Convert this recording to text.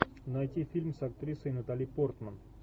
найти фильм с актрисой натали портман